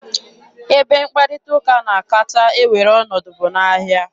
Ebe mkparịta ụka na-akacha ewere ọnọdụ bụ n'ahịa.